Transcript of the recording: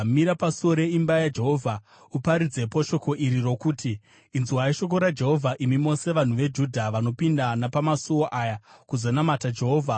“Mira pasuo reimba yaJehovha, uparidzepo shoko iri rokuti: “ ‘Inzwai shoko raJehovha imi mose vanhu veJudha vanopinda napamasuo aya kuzonamata Jehovha.